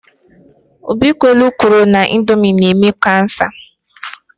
Obikwelu kwuru na Indomi na-eme kansa.